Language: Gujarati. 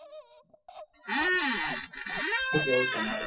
શું કરવું તમારું